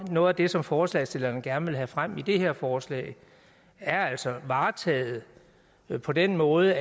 noget af det som forslagsstillerne gerne vil have frem med det her forslag er altså varetaget på den måde